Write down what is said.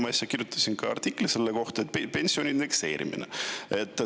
Ma äsja kirjutasin ka artikli pensioni indekseerimise kohta.